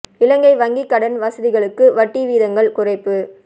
இலங்கை வங்கி கடன் வசதிகளுக்கு வட்டி வீதங்கள் குறைப்பு